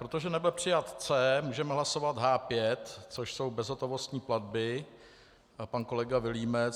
Protože nebyl přijat C, můžeme hlasovat H5, což jsou bezhotovostní platby, pan kolega Vilímec.